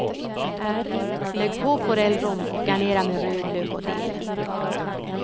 Lägg på forellrom och garnera med rödlök och dill.